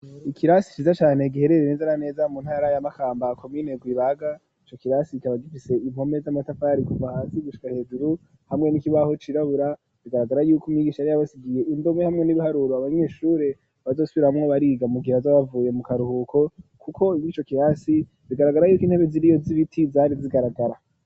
Ikirasi ciza cane gihererere neza na neza mu ntara ya Makamba komine Rwibaga ico kirasi kikaba gifise impome z'amatafari kuva hasi gushika hejuru hamwe n'ikibaho cirabura bigaragara yuko umwigisha yari abasigiye indome hamwe n'ibiharuro abanyeshure bazosubiramwo bariga mu gihe bazoba bavuye mu karuhuko kuko ico kirasi bigaragara yuko intebe ziriyo z'ibiti zari zigaragara